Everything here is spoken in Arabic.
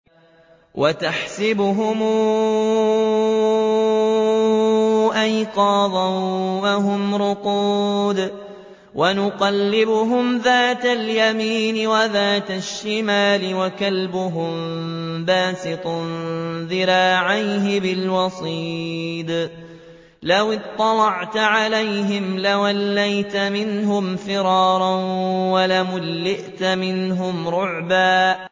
وَتَحْسَبُهُمْ أَيْقَاظًا وَهُمْ رُقُودٌ ۚ وَنُقَلِّبُهُمْ ذَاتَ الْيَمِينِ وَذَاتَ الشِّمَالِ ۖ وَكَلْبُهُم بَاسِطٌ ذِرَاعَيْهِ بِالْوَصِيدِ ۚ لَوِ اطَّلَعْتَ عَلَيْهِمْ لَوَلَّيْتَ مِنْهُمْ فِرَارًا وَلَمُلِئْتَ مِنْهُمْ رُعْبًا